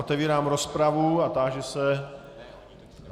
Otevírám rozpravu a táži se...